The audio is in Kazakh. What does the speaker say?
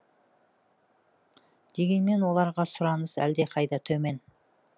дегенмен оларға сұраныс әлдеқайда төмен